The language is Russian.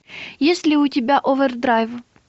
есть ли у тебя овердрайв